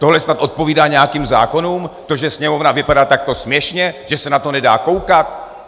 Tohle snad odpovídá nějakým zákonům, to, že Sněmovna vypadá takto směšně, že se na to nedá koukat?